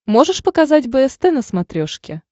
можешь показать бст на смотрешке